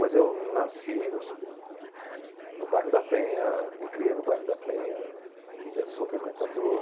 Mas eu nasci no bairro da Penha, me criei no bairro da Penha e ainda sou frequentador.